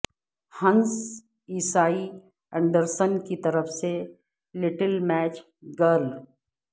ہنس عیسائی اینڈرسن کی طرف سے لٹل میچ گرل